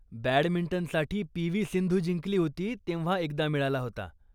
बॅडमिंटनसाठी P. V. Sindhu जिंकली होती तेव्हा एकदा मिळाला होता.